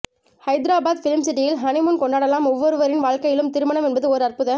ஹைதராபாத் ஃபிலிம்சிட்டியில் ஹனிமூன் கொண்டாடலாம் ஒவ்வொருவரின் வாழ்க்கையிலும் திருமணம் என்பது ஓர் அற்புத